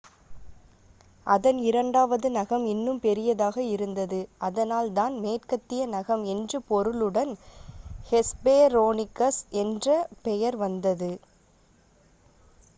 "அதன் இரண்டாவது நகம் இன்னும் பெரிதாக இருந்தது அதனால் தான் "மேற்கத்திய நகம்" என்று பொருளுடன் ஹெஸ்பெரோனிகஸ் என்ற பெயர் வந்தது.